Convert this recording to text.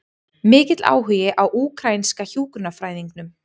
Mikill áhugi á úkraínska hjúkrunarfræðingnum